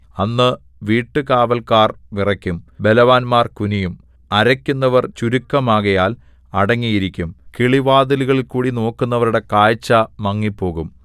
അന്ന് വീട്ടുകാവല്ക്കാർ വിറയ്ക്കും ബലവാന്മാർ കുനിയും അരയ്ക്കുന്നവർ ചുരുക്കമാകയാൽ അടങ്ങിയിരിക്കും കിളിവാതിലുകളിൽകൂടി നോക്കുന്നവരുടെ കാഴ്ച മങ്ങിപ്പോകും